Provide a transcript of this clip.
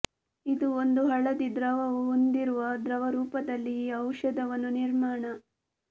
ಇದು ಒಂದು ಹಳದಿ ದ್ರವವು ಹೊಂದಿರುವ ದ್ರವ ರೂಪದಲ್ಲಿ ಈ ಔಷಧವನ್ನು ನಿರ್ಮಾಣ